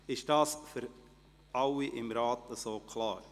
Ist dies für alle Ratsmitglieder klar?